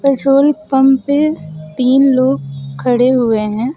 Petrol pump पे तीन लोग खड़े हुए हैं।